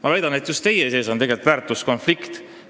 Ma väidan, et just teid vaevab väärtuskonflikt.